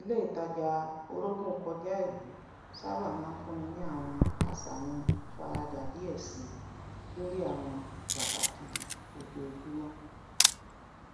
ilé itaja orògun kọjá ìlú sábà máa ń fúnni ní àwọn àṣàyàn ìfaradà díẹ síi lórí àwọn pàtàkì ojoojúmọ